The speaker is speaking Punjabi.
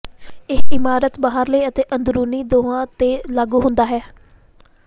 ਇਹ ਇਮਾਰਤ ਦੇ ਬਾਹਰਲੇ ਅਤੇ ਅੰਦਰੂਨੀ ਦੋਹਾਂ ਤੇ ਲਾਗੂ ਹੁੰਦਾ ਹੈ